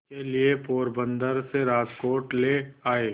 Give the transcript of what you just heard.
के लिए पोरबंदर से राजकोट ले आए